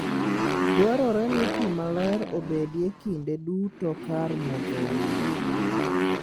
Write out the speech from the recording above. Dwarore ni pi maler obedie kinde duto kar modho winy.